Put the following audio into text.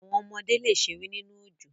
Àwọn ọmọdé le sẹ̀rẹ̀ nínu ọjọ́.